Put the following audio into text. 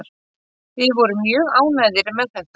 Við vorum mjög ánægðir með þetta